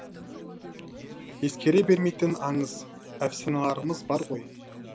ескере бермейтін аңыз әфсаналарымыз бар ғой